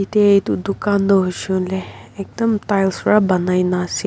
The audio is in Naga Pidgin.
yate etu dukan to hoishe kuile ekdam tiles ra banaina ase.